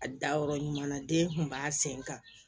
A da yɔrɔ ɲuman na den kun b'a sen kan